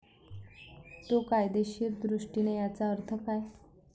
तो कायदेशीर दृष्टीने याचा अर्थ काय?